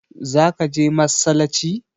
Za ka je massalaci?